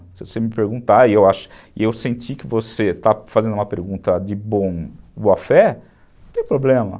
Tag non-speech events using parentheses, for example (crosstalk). Se você me perguntar e (unintelligible) eu sentir que você está fazendo uma pergunta de boa fé, não tem problema.